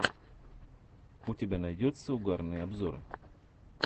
у тебя найдется угарные обзоры